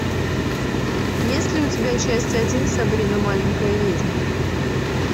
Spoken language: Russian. есть ли у тебя часть один сабрина маленькая ведьма